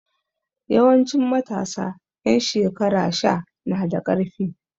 Yawanci matasa ƴan shekara sha na da ƙarfi.